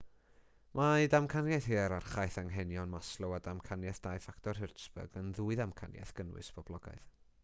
mae damcaniaeth hierarchaeth anghenion maslow a damcaniaeth dau ffactor hertzberg yn ddwy ddamcaniaeth gynnwys boblogaidd